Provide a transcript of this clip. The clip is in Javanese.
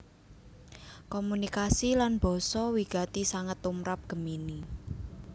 Komunikasi lan basa wigati sanget tumrap Gemini